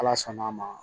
Ala sɔnn'a ma